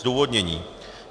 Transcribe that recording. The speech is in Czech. Zdůvodnění.